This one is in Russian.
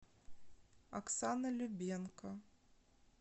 оксана любенко